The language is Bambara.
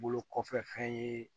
Bolo kɔfɛ fɛn ye